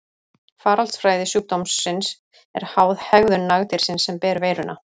Faraldsfræði sjúkdómsins er háð hegðun nagdýrsins sem ber veiruna.